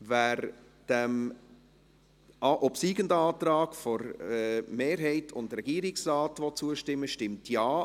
Wer dem obsiegenden Antrag der Mehrheit und des Regierungsrates zustimmen will, stimmt Ja,